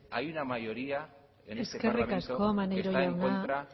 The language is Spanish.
hay una mayoría es este parlamento que está en contra